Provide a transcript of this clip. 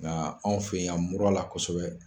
Nka anw fɛ yan muru la kosɛbɛ